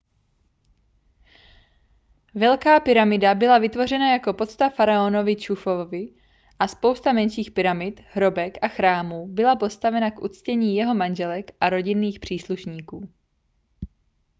velká pyramida byla vytvořena jako pocta faraonovi chufuovi a spousta menších pyramid hrobek a chrámů byla postavena k uctění jeho manželek a rodinných příslušníků